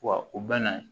Wa u bɛ na